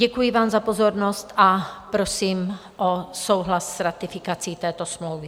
Děkuji vám za pozornost a prosím o souhlas s ratifikací této smlouvy.